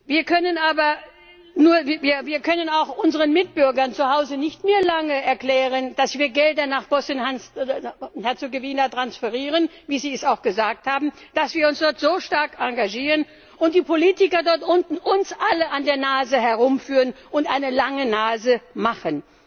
Wir können auch unseren Mitbürgern zuhause nicht mehr lange erklären, dass wir Gelder nach Bosnien und Herzegowina transferieren wie Sie es auch gesagt haben dass wir uns dort so stark engagieren und die Politiker dort unten uns alle an der Nase herumführen und uns eine lange Nase machen.